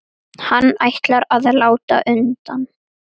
Hann ætlar að láta undan.